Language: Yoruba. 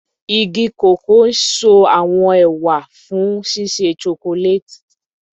Igi koko n so awọn ewa fun ṣiṣe chocolate